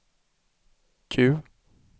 Q